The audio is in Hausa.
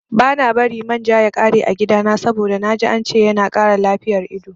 Bana bari man ja ya ƙare a gidana saboda naji ance yana kara lafiyar ido